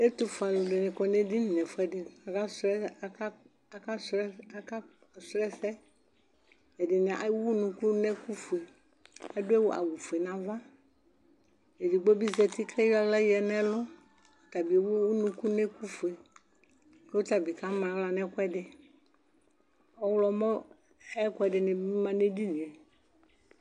ɛtufue alʊɛdɩnɩ adʊ edinidɩ kʊ aka sʊ ɛsɛ, ɛdɩnɩ ewu unuku nʊ ɛkʊ fue, adʊ awufue n'ava, edigbo bɩ zati kʊ ayɔ aɣla yǝdʊ n'ɛlʊ, ɔtabɩ ewu unuku nʊ ɛkʊfue, kʊ ɔtabɩ kamaɣla nʊ ɛkʊɛdɩ, ɔwlɔmɔ ayʊ ɛkʊɛdɩnɩ ma nʊ edini yɛ